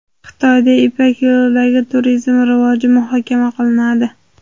Xitoyda Ipak yo‘lidagi turizm rivoji muhokama qilinadi.